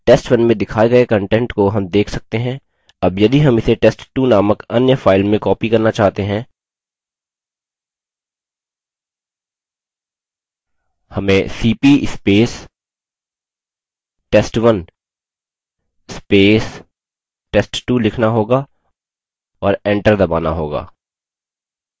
test1 में दिखाये गए content को हम देख सकते हैं as यदि हम इसे test2 नामक अन्य file में copy करना चाहते हैं हमें $cp test1 test2 लिखना होगा और एंटर दबाना होगा